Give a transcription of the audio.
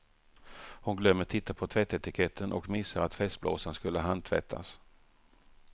Hon glömmer titta på tvättetiketten och missar att festblåsan skulle handtvättas.